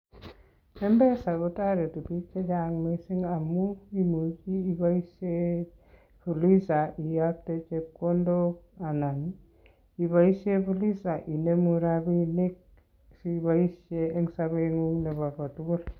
mpesa kotoretii biik chechang missing amun, kimuche keboishien fuliza kiyoktoo chepkondok anan iboishien fuliza inemu rabinik siiboishien en sobengung nebo kotugul